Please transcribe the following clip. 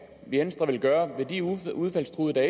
venstre vil gøre ved de udfaldstruede der